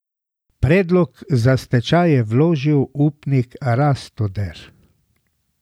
Predlog za stečaj je vložil upnik Rastoder.